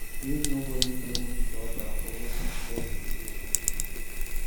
Make nobody blame each oda for wetin spoil di relationship